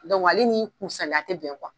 Dɔnku ale n'i kunsalenya te bɛn kuwa